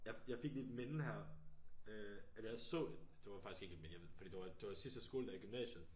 Jeg fik lige et minde her øh eller jeg så det var faktisk ikke et minde jeg ved fordi det var det var sidste skoledag i gymnasiet